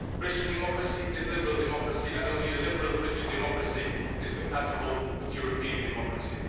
Christian Democracy is liberal democracy and only a liberal Christian Democracy is compatible with European democracy.